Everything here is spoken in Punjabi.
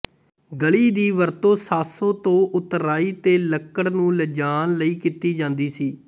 ਗਲੀ ਦੀ ਵਰਤੋਂ ਸਾਸੋ ਤੋਂ ਉਤਰਾਈ ਤੇ ਲੱਕੜ ਨੂੰ ਲਿਜਾਣ ਲਈ ਕੀਤੀ ਜਾਂਦੀ ਸੀ